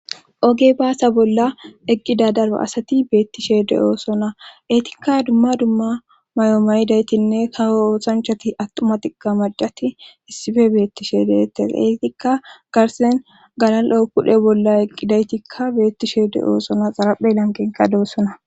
Oge baasa bolla eqqida dara asati beetti sheede oosona eetikka dumma dumma may7o maydaytinne kaho oosanchati atuma tigga majati issife beetti sheedeetes eetikka garsen galal7o kudhe bolla eqqidaytikka beetti sheede oosona xaraphe lanqenka doossona.